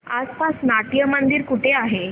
आसपास नाट्यमंदिर कुठे आहे